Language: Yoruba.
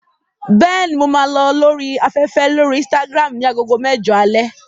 Bẹ́ẹ̀ni, mo máa lọ lórí afẹ́fẹ́ lórí Instagram ní agogo mẹ́jọ alẹ́.